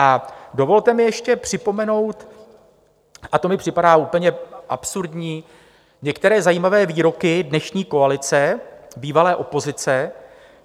A dovolte mi ještě připomenout, a to mi připadá úplně absurdní, některé zajímavé výroky dnešní koalice, bývalé opozice.